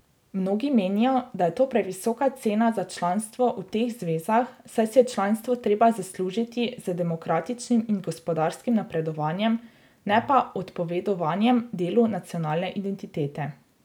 Mnogi menijo, da je to previsoka cena za članstvo v teh zvezah, saj si je članstvo treba zaslužiti z demokratičnim in gospodarskim napredovanjem, ne pa odpovedovanjem delu nacionalne identitete.